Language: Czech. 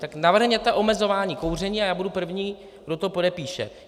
Tak navrhněte omezování kouření a já budu první, kdo to podepíše.